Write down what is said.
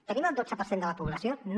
tenim el dotze per cent de la població no